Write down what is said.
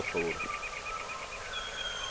È per questo motivo che ho votato a favore.